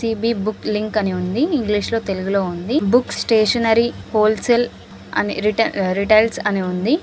సి_బి book link అని ఉంది ఇంగ్లీషులో తెలుగులో ఉంది బుక్ స్టేషనరీ హోల్సేల్ అనే రిటై-- రిటైల్స్ అని ఉంది.